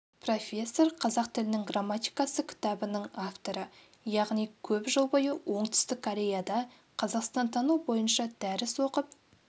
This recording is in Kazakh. профессор қазақ тілінің грамматикасы кітабының авторы яғни көп жыл бойы оңтүстік кореяда қазақстантану бойынша дәріс оқып